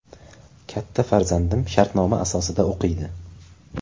Katta farzandim shartnoma asosida o‘qiydi.